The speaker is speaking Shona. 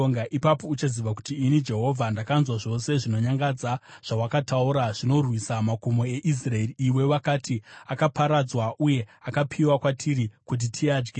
Ipapo uchaziva kuti ini Jehovha ndakanzwa zvose zvinonyadza zvawakataura zvinorwisa makomo eIsraeri. Iwe wakati, “Akaparadzwa uye akapiwa kwatiri kuti tiadye.”